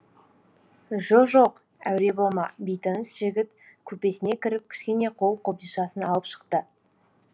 жо жоқ әуре болма бейтаныс жігіт купесіне кіріп кішкене қол қобдишасын алып шықты